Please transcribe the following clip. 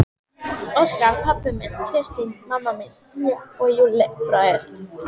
Óskar pabbi minn, Kristín mamma mín, ég og Júlli bróðir.